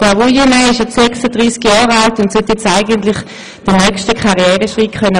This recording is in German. Herr Wuillemin ist 36 Jahre alt und sollte jetzt eigentlich den nächsten Karriereschritt tun können.